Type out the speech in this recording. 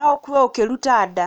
No ũkue ũkĩruta nda